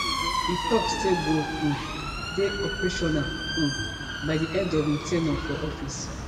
e tok say go um dey operational um by di end of im ten ure for office